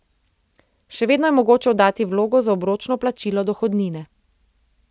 Še vedno je mogoče oddati vlogo za obročno plačilo dohodnine.